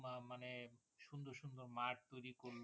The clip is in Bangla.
মা~মানে সুন্দর সুন্দর মাঠ তৈরী করলো